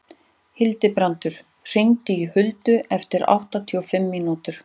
Hildibrandur, hringdu í Huld eftir áttatíu og fimm mínútur.